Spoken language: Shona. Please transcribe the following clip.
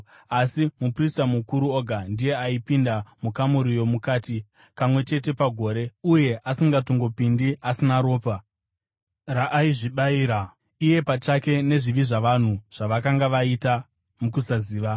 Asi muprista mukuru oga ndiye aipinda mukamuri yomukati, kamwe chete pagore, uye asingatongopindi asina ropa, raaizvibayira iye pachake nezvivi zvavanhu zvavakanga vaita mukusaziva.